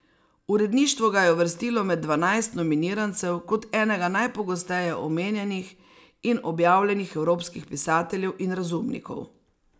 Uredništvo ga je uvrstilo med dvanajst nominirancev kot enega najpogosteje omenjenih in objavljenih evropskih pisateljev in razumnikov.